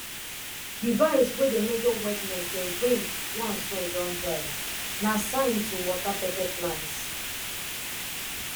device way dey measure wetness dey ring once soil don dry na sign to water pepper plants